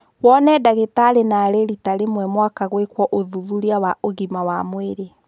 Wone ndagitari narĩĩ rita rĩmwe mwaka gwĩkwo ũthuthuria wa ũgima wa mwirĩ.